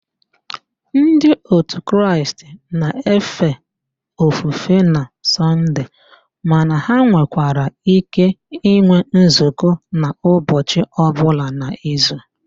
Ndi òtù Kraịst na-efe ofufe na Sọnde mana ha nwekwara íké ịnwe nzukọ n'ụbọchi ọbụla n'izu